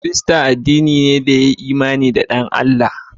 Kirista addini ne da ya yi imani da dan Allah.